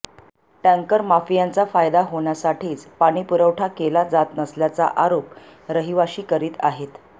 टॅंकरमाफियांचा फायदा होण्यासाठीच पाणी पुरवठा केला जात नसल्याचा आरोप रहिवाशी करीत आहेत